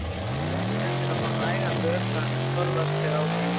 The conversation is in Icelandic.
Nauðsynlegt er að fá nægan vökva en forðast ber áfengi.